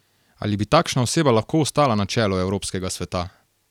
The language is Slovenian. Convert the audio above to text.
Ali bi takšna oseba lahko ostala na čelu Evropskega sveta?